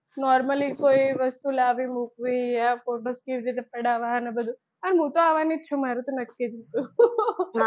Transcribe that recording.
normally કોઈ વસ્તુ લાવી મૂકવી આ photos કેવી રીતે પડાવા ને બધુ અને હું તો આવાની જ છું મારુ તો નક્કી જ હતું